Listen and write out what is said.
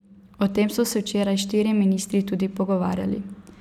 O tem so se včeraj štirje ministri tudi pogovarjali.